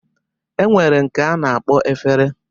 E nwere nke a na-akpọ efere